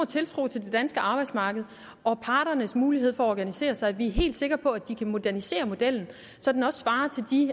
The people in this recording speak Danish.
tiltro til det danske arbejdsmarked og parternes mulighed for at organisere sig at vi er helt sikre på at de kan modernisere modellen så den også svarer til de